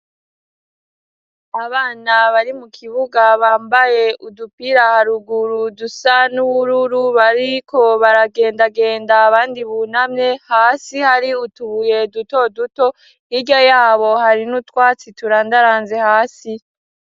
Abana bari mu kibuga bambaye udupira haruguru dusa n'ubururu bariko baragendagenda abandi bunamye, hasi hari utubuye duto duto, hirya yabo hari n'utwatsi turandaranze hasi.